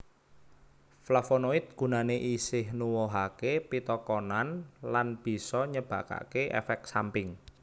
Flavonoid gunane isih nuwuhake pitakonan lan bisa nyebabake efek samping